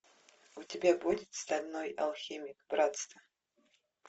у тебя будет стальной алхимик братство